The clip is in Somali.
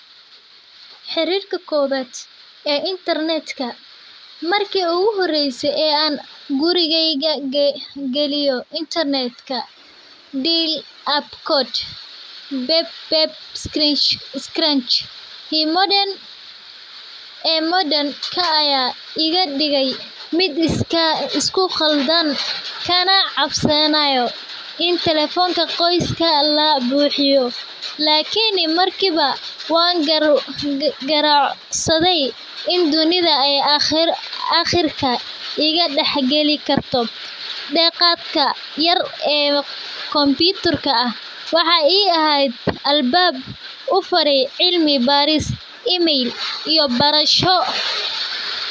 Xariirka kowaad marki iigu horeyse aan gurigeyga galiyo qadka ayaa iga dige mid isku qaldan kana cabsanaayo in tekefonka ka buuxiyo in dunida aqirka iga dex gaki garto cilmi baaris iyo barasho.